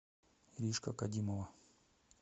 иришка кадимова